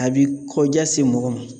A bi kɔja se mɔgɔ ma